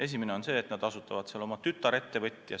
Esimene on, et nad asutavad oma tütarettevõtja.